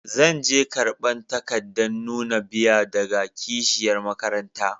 Zan je karban takadan nuna biya daga kashiyar makaranta.